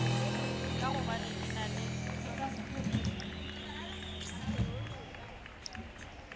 ka gobane e na le